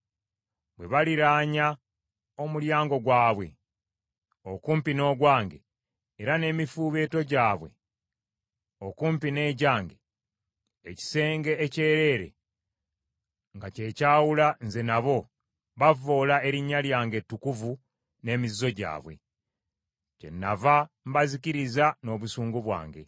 Bwe baliraanya omulyango gwabwe okumpi n’ogwange, era n’emifuubeeto gyabwe okumpi n’egyange, ekisenge ekyereere nga kye kyawula nze nabo, bavvoola erinnya lyange ettukuvu n’emizizo gyabwe. Kyennava mbazikiriza n’obusungu bwange.